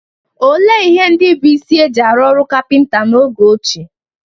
Olee ihe ndị bụ́ isi e ji arụ ọrụ kapịnta n'oge ochie?